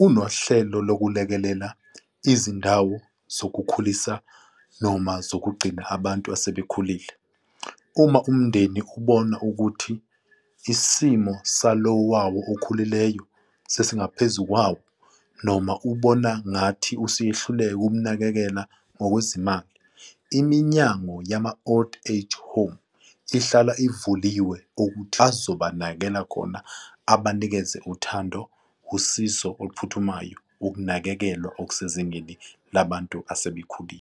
unohlelo lokulekelela izindawo zokukhulisa noma zokugcina abantu asebekhulile. Uma umndeni ubona ukuthi isimo salowo wawo okhulileyo sesingaphezu kwawo noma ubona ngathi useyahluleka ukumnakekela ngokwezimali. Iminyango yama-old age home ihlala ivuliwe ukuthi azobanakekela khona abanikeze uthando, usizo oluphuthumayo, ukunakekelwa okusezingeni labantu asebekhulile.